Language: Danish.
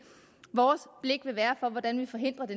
vores blik vil være på hvordan vi forhindrer at